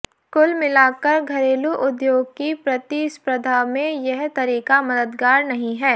कुल मिलाकर घरेलू उद्योग की प्रतिस्पर्धा में यह तरीका मददगार नहीं है